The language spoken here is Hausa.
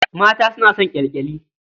Mata suna son ƙyalƙyali.